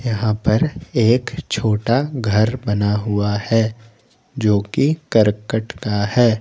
यहां पर एक छोटा घर बना हुआ है जोकि करकट का है।